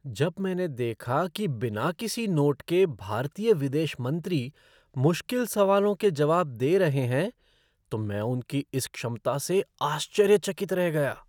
जब मैंने देखा कि बिना किसी नोट के भारतीय विदेश मंत्री मुश्किल सवालों के जवाब दे रहे हैं तो मैं उनकी इस क्षमता से आश्चर्यचकित रह गया!